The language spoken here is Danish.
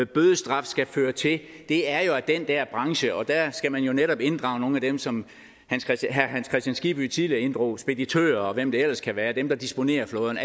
bødestraf skal føre til er jo at den der branche og der skal man jo netop inddrage nogle af dem som herre hans kristian skibby tidligere inddrog speditører og hvem det ellers kan være dem der disponerer flåden